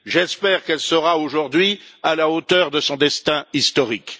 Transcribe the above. J'espère qu'elle sera aujourd'hui à la hauteur de son destin historique.